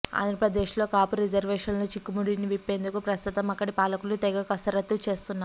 ఆంధ్రప్రదేశ్లో కాపు రిజర్వేషన్ల చిక్కుముడిని విప్పేందుకు ప్రస్తుతం అక్కడి పాలకులు తెగ కసరత్తు చేస్తున్నారు